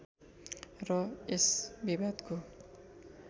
र यस विवादको